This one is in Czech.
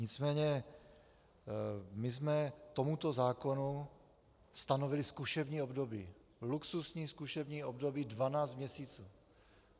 Nicméně my jsme tomuto zákonu stanovili zkušební období - luxusní zkušební období 12 měsíců.